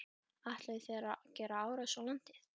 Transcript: Ætluðu þeir að gera árás á landið?